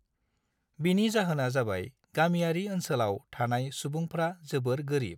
बिनि जाहोना जाबाय - गामियारि ओनसोलाव थानाय सुबुंफ्रा जोबोर गोरिब।